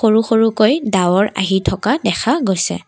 সৰু সৰুকৈ ডাৱৰ আহি থকা দেখা গৈছে।